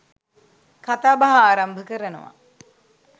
කතාබහ ආරම්භ කරනවා